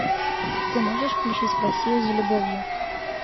ты можешь включить в россию за любовью